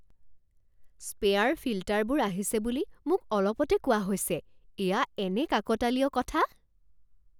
Spare ফিল্টাৰবোৰ আহিছে বুলি মোক অলপতে কোৱা হৈছে। এয়া এনে কাকতালীয় কথা